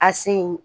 A sen